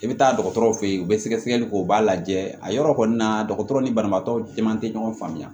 I bɛ taa dɔgɔtɔrɔ fe yen u bɛ sɛgɛsɛgɛli kɛ u b'a lajɛ a yɔrɔ kɔni na dɔgɔtɔrɔ ni banabagatɔ caman tɛ ɲɔgɔn faamuya